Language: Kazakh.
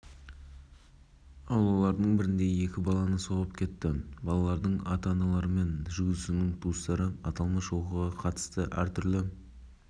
көлік футбол алаңындағы екі баланы қағып кеткен зардап шеккен балалар бірнеше жерлерінен жарақат алып ауруханаға